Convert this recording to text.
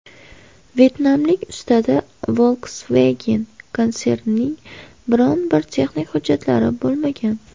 Vyetnamlik ustada Volkswagen konsernining biror bir texnik hujjatlari bo‘lmagan.